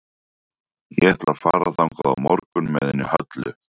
Ég ætla að fara þangað á morgun með henni Höllu.